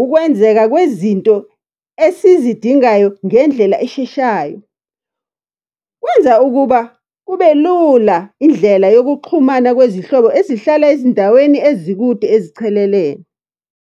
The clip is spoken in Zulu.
Ukwenzeka kwezinto esizidingayo ngendlela esheshayo, kwenza ukuba kube lula Indlela yokuxhumana kwezihlobo ezihlala ezindaweni ezikude ezichelelene.